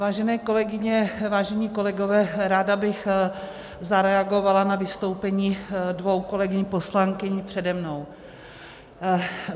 Vážené kolegyně, vážení kolegové, ráda bych zareagovala na vystoupení dvou kolegyň poslankyň přede mnou.